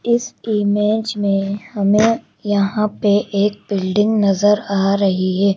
इस इमेज में हमें यहां पे एक बिल्डिंग नजर आ रही है।